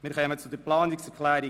Wir kommen zur Planungserklärung